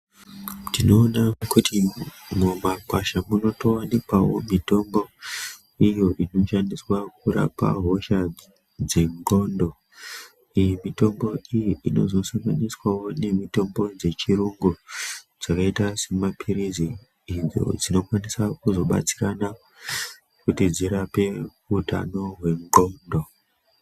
Tinoona kuti mumakwasha munotowanikwawo mitombo iyo inoshandiswa kurapa hosha dzendxondo. Iyi mitombo iyi inozosanganiswawo nemitombo dzechirungu .Dzakaita semapilizi ,idzo dzinokwanisa kuzobatsirana kuti dzirape muntu anozwe ndxondo.